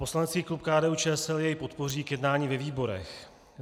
Poslanecký klub KDU-ČSL jej podpoří k jednání ve výborech.